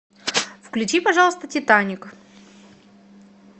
включи пожалуйста титаник